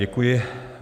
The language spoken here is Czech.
Děkuji.